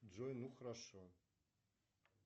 джой ну хорошо